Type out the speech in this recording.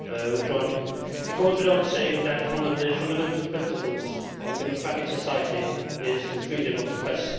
Mr President, it goes without saying that one of the fundamental principles of a democratic society is freedom of the press.